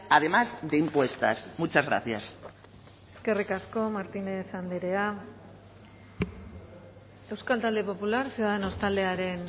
además de impuestas muchas gracias eskerrik asko martínez andrea euskal talde popular ciudadanos taldearen